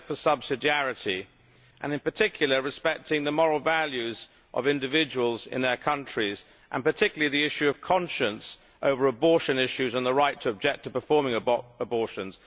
a respect for subsidiarity and in particular respecting the moral values of individuals in their countries, and particularly the issue of conscience over abortion issues and the right to object to performing abortions.